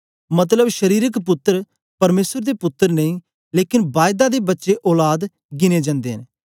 मतलब शरीरक पुत्तर परमेसर दे पुत्तर नेई लेकन बायदा दे बच्चे औलाद गिने जंदे न